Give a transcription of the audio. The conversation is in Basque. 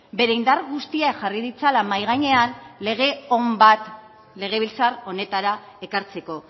bere indar guztiak jarri ditzala mahai gainean lege on bat legebiltzar honetara ekartzeko